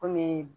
Kɔmi